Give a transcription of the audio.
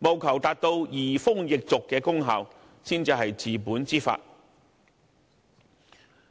務求達到移風易俗的功效，才是治本之法。